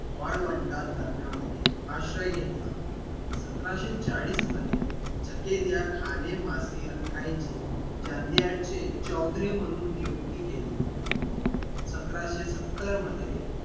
वाळवंटात दरम्यामध्ये आश्रय घेतला सतराशे चाळीस मध्ये झ्हाकेर या खाणी माधयचे जानडियाडचे चौधरी म्हणून नियुक्ती केली सतराशे सत्तर मध्ये